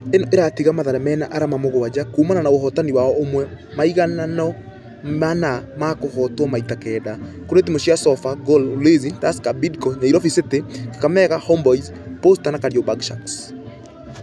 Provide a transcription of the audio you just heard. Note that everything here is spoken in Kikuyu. Ĩno ĩratiga mathare mena arama mũgwaja kuumana na ũhotani wao ũmwe, maiganano mana na kũhotwo maita kenda . Kũrĩ timũ cia sofa, gor, ulinzi, tusker, bidco , nyairobi city, kakamega homeboyz, posta na kariobangi sharks.